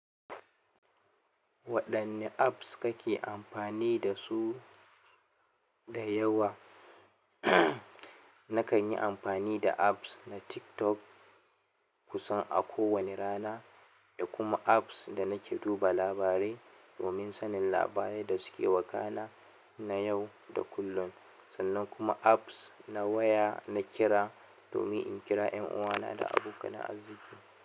Waɗanne apps kake amfani da su da yawa. Nakan yi amfani da apps na TikTok kusan a kowane rana, da kuma apps da nake duba labarai domin sanin labarai da suke wakana na yau da kullum, sannan kuma apps na waya na kira domin in kira ƴan uwana da abokanan arziki.